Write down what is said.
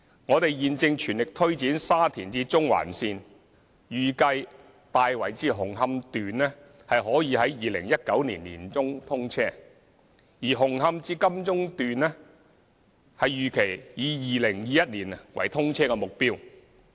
我們現正全力推展沙田至中環線，預計"大圍至紅磡段"可於2019年年中通車，而"紅磡至金鐘段"預期以2021年為通車目標。